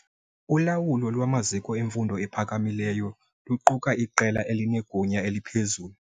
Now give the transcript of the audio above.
Ulawulo lwamaziko emfundo ephakamileyo luquka iqela elinegunya eliphezulu.